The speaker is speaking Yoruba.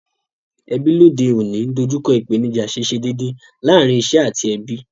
Ebí lóde ọ̀ní n dojúko ìpènijà síse dédè lárin isé àti ebí